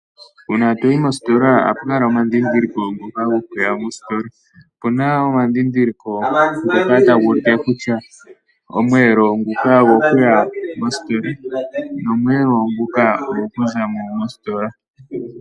Uuna toyi mositola ohapu kala muna omadhidhiliko ngoka gokuya mositola, opuna omadhidhiliko ngoka taguti kutya omweelo nguka ogo kuya mositola nomweelo nguka ogo kuzamo mositola.